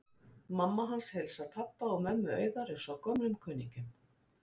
Mamma hans heilsar pabba og mömmu Auðar eins og gömlum kunningjum.